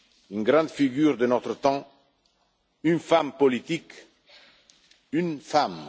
une grande figure de notre temps, une femme politique, une femme.